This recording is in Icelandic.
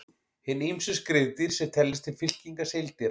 Hin ýmsu skriðdýr sem teljast til fylkingar seildýra.